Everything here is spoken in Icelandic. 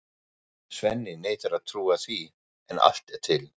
Svenni neitar að trúa því en allt er til.